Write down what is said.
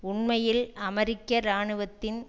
உண்மையில் அமெரிக்க இராணுவத்தின்